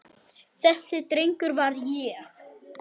Þessi drengur var ég.